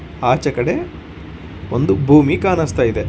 ಆಚೆಕಡೆ ಒಂದು ಭೂಮಿ ಕಾಣಸ್ತಾ ಇದೆ.